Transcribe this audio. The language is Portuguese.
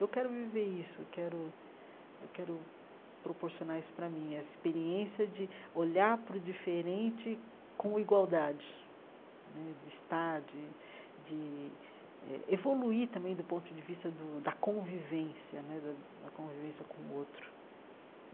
Eu quero viver isso, eu quero eu quero proporcionar isso para mim, essa experiência de olhar para o diferente com igualdade né, de estar, de de eh evoluir também do ponto de vista do da convivência né, da a convivência com o outro.